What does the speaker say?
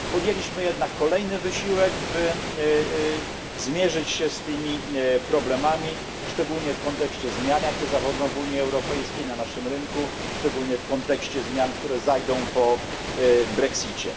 Podjęliśmy jednak kolejny wysiłek, by zmierzyć się z tymi problemami, szczególnie w kontekście zmian jakie zachodzą w Unii Europejskiej na naszym rynku, szczególnie w kontekście zmian, które zajdą po brexicie.